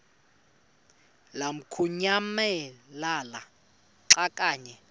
lamukunyamalala xa kanye